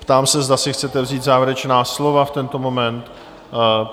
Ptám se, zda si chcete vzít závěrečná slova v tento moment?